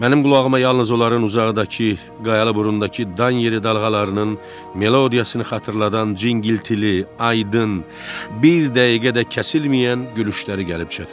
Mənim qulağıma yalnız onların uzaqdakı qayalı burundakı dan yeri dalğalarının melodiyasını xatırladan cingiltili, aydın, bir dəqiqə də kəsilməyən gülüşləri gəlib çatırdı.